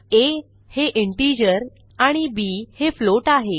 आ हे इंटिजर आणि बी हे फ्लोट आहे